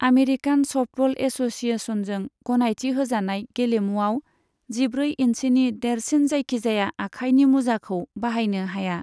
American softball एस'सिएशनजों गनायथि होजानाय गेलेमुआव जिब्रै इन्सिनि देरसिन जायखिजाया आखाइनि मुजाखौ बाहायनो हाया।